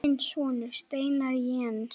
Þinn sonur, Steinar Jens.